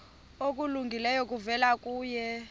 okulungileyo kuvela kuye